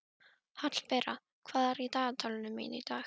Hallbera, hvað er í dagatalinu mínu í dag?